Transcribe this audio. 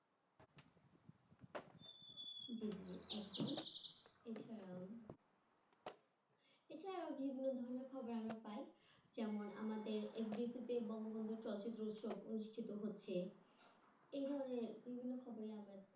Instagram এছাড়া বিভিন্ন ধরনের খবর আমরা পায় যেমন আমাদের FDC কে বঙ্গবন্ধু চলচ্চিত্র উৎসব অনুষ্ঠিত হচ্ছে এই ধরনের বিভিন্ন খবরই আমরা